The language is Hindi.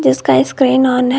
इसका स्क्रीन ऑन है।